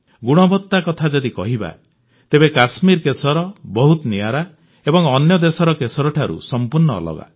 ଗୁଣବତ୍ତା କଥା ଯଦି କହିବା ତେବେ କଶ୍ମୀର କେଶର ବହୁତ ନିଆରା ଏବଂ ଅନ୍ୟ ଦେଶର କେଶରଠାରୁ ସମ୍ପୂର୍ଣ୍ଣ ଅଲଗା